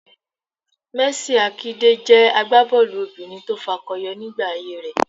Mercy Àkidè jẹ́ àgbábọ́ọ̀lù obìnrin tó fakọyọ nígbà ayé rẹ